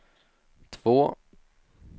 två